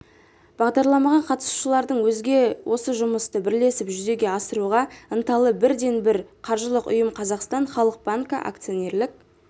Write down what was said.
бағдарламаға қатысушылардың өзге осы жұмысты бірлесіп жүзеге асыруға ынталы бірден-бір қаржылық ұйым қазақстан халық банкі акционерлік